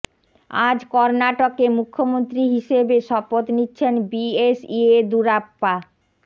আজ কর্ণাটকে মুখ্যমন্ত্রী হিসেবে শপথ নিচ্ছেন বি এস ইয়েদুরাপ্পা